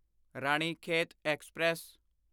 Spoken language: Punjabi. ਰਾਣੀਖੇਤ ਐਕਸਪ੍ਰੈਸ